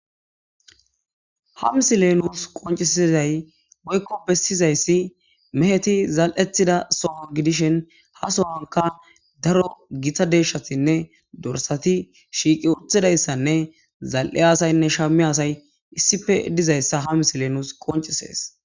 ha misilenus qoncisizay woykko bessizayssi meheti zal7ethida soho gidishin ha sowanka daro gita deshshatinne dorsati shiiqi uthidayssanne zal7e asaynne shammi asay issife dizayssa ha misilenus qoncisees